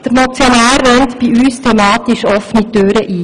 Der Motionär rennt bei uns thematisch offene Türen ein.